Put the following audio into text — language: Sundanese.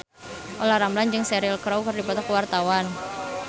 Olla Ramlan jeung Cheryl Crow keur dipoto ku wartawan